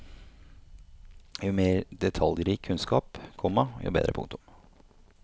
Jo mer detaljrik kunnskap, komma jo bedre. punktum